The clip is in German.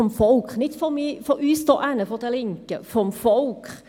Es war ein Nein des Volkes, nicht von uns Linken hier.